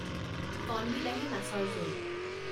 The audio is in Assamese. কণবিলাহী, মাছৰ জোল